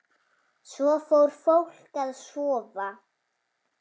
Svo fór fólk að sofa.